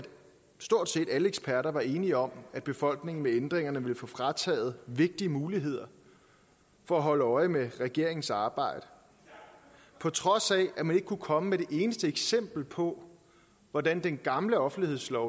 stort set alle eksperter var enige om at befolkningen med ændringerne ville få frataget vigtige muligheder for at holde øje med regeringens arbejde på trods af at man ikke kunne komme med et eneste eksempel på hvordan den gamle offentlighedslov